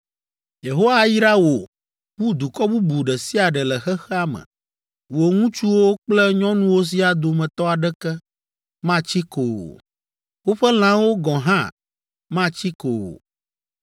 Yehowa ayra wò wu dukɔ bubu ɖe sia ɖe le xexea me. Wò ŋutsuwo kple nyɔnuwo siaa dometɔ aɖeke matsi ko o. Woƒe lãwo gɔ̃ hã matsi ko o.